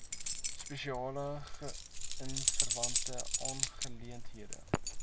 spesiale gesinsverwante aangeleenthede